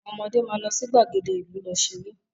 Àwọn ọmọde máa lọ sí ìgbàgede ìlú lọ ṣeré